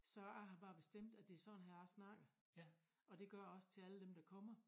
Så jeg har bare bestemt at det er sådan her jeg snakker og det gør jeg også til alle dem der kommer